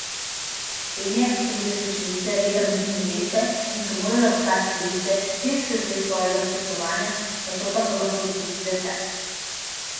Slednje so bile svečenice reda boginje Veste in so morale ostati device trideset let svojega službovanja, nato pa so lahko zapustile tempelj.